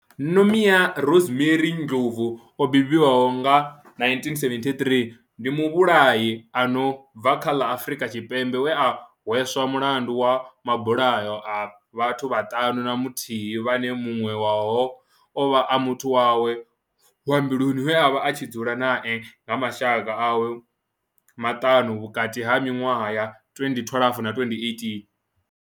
Nomia Rosemary Ndlovu o bebiwaho nga, 1973, ndi muvhulahi a no bva kha ḽa Afrika Tshipembe we a hweswa mulandu wa mabulayo a vhathu vhaṱanu na muthihi vhane muṅwe wavho ovha a muthu wawe wa mbiluni we avha a tshi dzula nae na mashaka awe maṱanu, vhukati ha minwaha ya 2012 na 2018.